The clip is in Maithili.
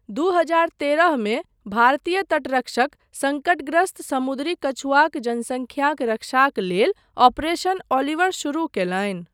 दू हजार तेरह मे भारतीय तटरक्षक सङ्कटग्रस्त समुद्री कछुआक जनसंख्याक रक्षाक लेल ऑपरेशन ओलिवर शुरू कयलनि।